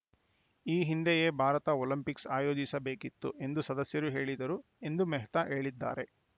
ಈ ಹಿಂದೆಯೇ ಭಾರತ ಒಲಿಂಪಿಕ್ಸ್‌ ಆಯೋಜಿಸಬೇಕಿತ್ತು ಎಂದು ಸದಸ್ಯರು ಹೇಳಿದರು ಎಂದು ಮೆಹ್ತಾ ಹೇಳಿದ್ದಾರೆ